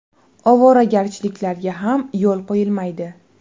Ovoragarchiliklarga ham yo‘l qo‘yilmaydi.